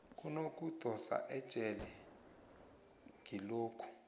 kunokudosa ejele kilokho